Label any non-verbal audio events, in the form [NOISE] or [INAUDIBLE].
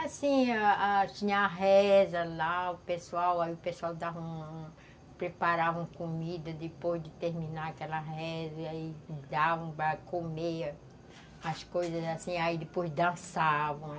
Assim, a a tinha a reza lá, o pessoal o pessoal [UNINTELLIGIBLE] preparava comida depois de terminar aquela reza e dava para comer as coisas assim, aí depois dançavam.